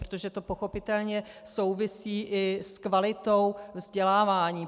Protože to pochopitelně souvisí i s kvalitou vzdělávání.